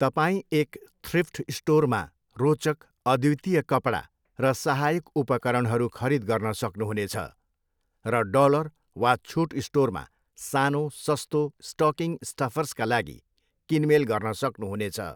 तपाईँ एक थ्रिफ्ट स्टोरमा रोचक, अद्वितीय कपडा र सहायक उपकरणहरू खरीद गर्न सक्नुहुनेछ, र डलर वा छुट स्टोरमा सानो, सस्तो स्टकिङ स्टफर्सका लागि किनमेल गर्न सक्नुहुनेछ।